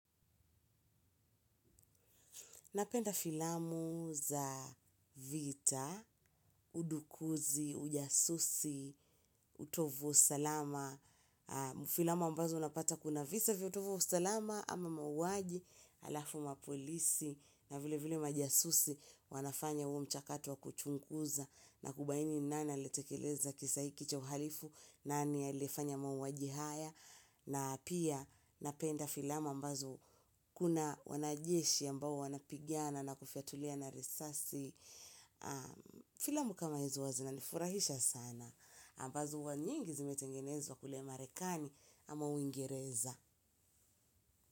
Napenda filamu za vita, udukuzi, ujasusi, utovu salama, filamu ambazo napata kuna visa vya utovu wa usalama ama mauaji alafu mapolisi na vile vile majasusi wanafanya huo mchakato kuchunguza na kubaini nani alietekeleza kisaiki cha uhalifu nani aliefanya mauaji haya. Na pia napenda filamu ambazo kuna wanajeshi ambao wanapigina na kufyatuliana risasi filamu kama hizo wazi na nifurahisha sana ambazo huwa nyingi zimetengenezwa kule marekani ama uingireza.